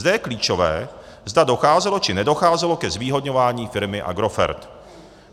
Zde je klíčové, zda docházelo či nedocházelo ke zvýhodňování firmy Agrofert.